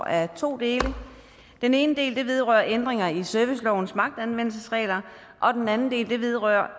af to dele den ene del vedrører ændringer i servicelovens magtanvendelsesregler og den anden del vedrører